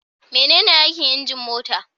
Menene aikin injin mota?